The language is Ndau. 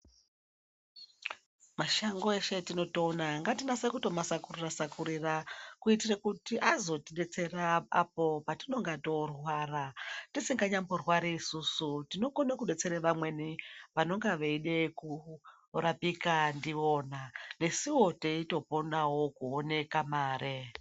Mashango eshe etinotoona aya ngatinase kutomasakurira-sakurira kuitire kuti azotidetsera apo patinonga toorwara. Tisinganyamborwari isusu tinokone kudetsera vamweni vanonga veida kurapika ndiwona. Nesuwo teitoponawo kuone kamare.